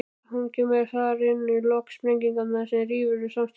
Hún kemur þar inn í lok sprengingarinnar sem rýfur samstarfið.